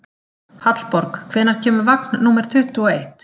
Hallborg, hvenær kemur vagn númer tuttugu og eitt?